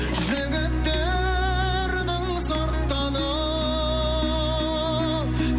жігіттердің сырттаны ау